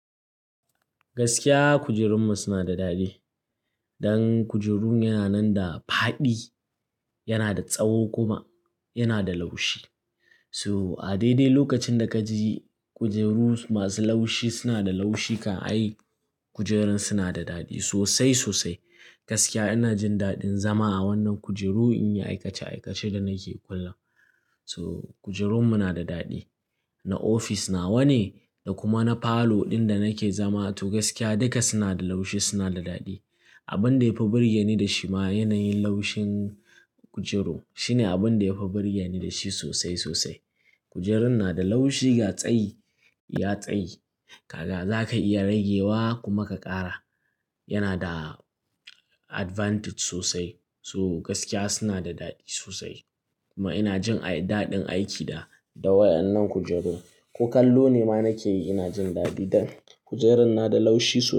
Gaskiya kujerunmu suna da daɗi. Dan kujerun yana nan da faɗi, yana da tsawo kuma yana da laushi. So a daidai lokacin da ka ji kujeru masu laushi suna da laushi, ka a yi kujerun suna da daɗi sosai sosai. Gaskiya ina jin daɗin zama a wannan kujeru in yi aikace aikace da nake kullum. To kujerunmu na da daɗi. Na ofis nawa ne da kuma na falo ɗin da nake zama. To gaskiya duka suna da laushi, suna da daɗi. Abin da ya fi burge ni da shi ma yanayin laushin kujeru shine abin da ya fi burge ni da shi sosai sosai. Kujerun na da laushi ga tsayi, ya tsayi. Ka ga za ka iya rage wa kuma ka ƙara. Yana da advantage sosai. To gaskiya suna da daɗi sosai. Kuma ina jin daɗin aiki da, da wa'yannan kujeru. Ko kallo ne ma nake yi ina jin daɗi dan kujerun na da laushi sosai.